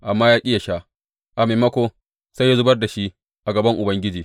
Amma ya ƙi yă sha; a maimako, sai ya zubar da shi a gaban Ubangiji.